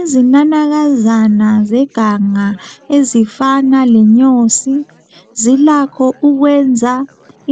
Izinanakazana zeganga ezifana lenyosi zilakho ukwenza